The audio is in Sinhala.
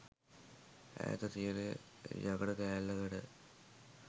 ඈත තියෙන යකඩ කෑල්ලකට